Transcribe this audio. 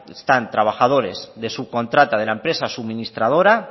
están trabajadores de subcontrata de la empresa suministradora